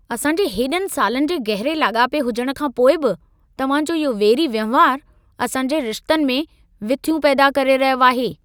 असां जे हेॾनि सालनि जे गहिरे लाॻापे हुजण खां पोइ बि, तव्हां जो इहो वेरी वहिंवारु, असां जे रिश्तनि में विथियूं पैदा करे रहियो आहे।